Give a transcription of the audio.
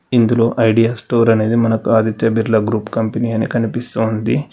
ఇందులో Idea store అనేది మనకు ఆదిత్య బిర్లా గ్రూప్ కంపెనీ అని కనిపిస్తోంది.